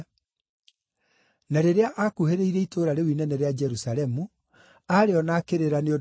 Na rĩrĩa aakuhĩrĩirie itũũra rĩu inene rĩa Jerusalemu, aarĩona akĩrĩra nĩ ũndũ warĩo,